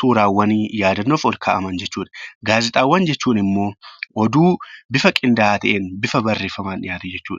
suuraawwanii yaadannoof ol kaa'aman jechuudha. Gaazexaawwan jechuun immoo oduu bifa qindaa'aa ta'een bifa barreeffamaan dhiyaate jechuudha.